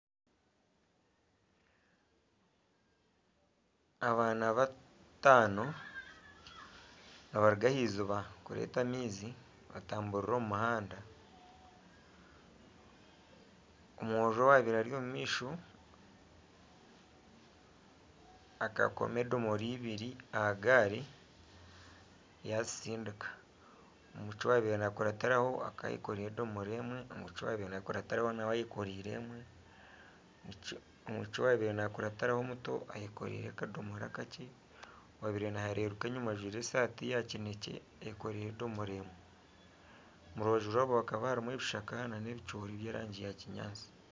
Abaana bataano nibaruga ah'iziiba kureeta amaizi nibatamburira omu muhanda, omwojo owabaire ari omumaisho akakoma edomoora ibiri aha gaari yazitsindika, omwishiki owabaire nakurataho akaba ayekoreire edomoora emwe n'omwishiki owabaire nakurataho nawe ayekoreire emwe, omwishiki owabaire nakurataho omuto ayekoreire akadoomora akakye, owabaire nahererukayo enyuma ajwaire esaati ya kinekye eyekoreire edomoora emwe omu rubaju yaabo hakaba harimu ebishaka n'ebicoori by'erangi ya kinyaatsi.